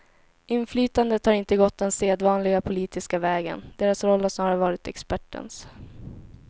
Inflytandet har inte gått den sedvanliga politiska vägen, deras roll har snarare varit expertens.